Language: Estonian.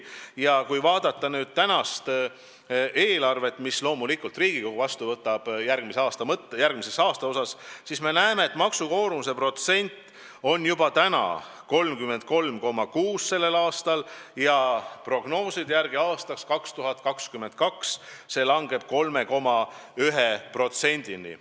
Ja kui vaadata täna üle antavat järgmise aasta eelarvet, mille loomulikult Riigikogu peab vastu võtma, siis näeme, et maksukoormuse protsent on tänavu 33,6 ja prognooside järgi aastaks 2022 see langeb 3,1%-ni.